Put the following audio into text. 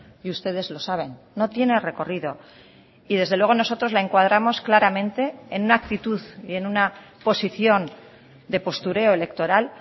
y ustedes lo saben no tiene recorrido y desde luego nosotros la encuadramos claramente en una actitud y en una posición de postureo electoral